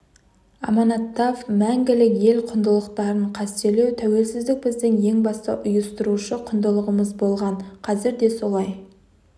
аманаттап мәңгілік ел құндылықтарын қастерлеу тәуелсіздік біздің ең басты ұйыстырушы құндылығымыз болған қазір де солай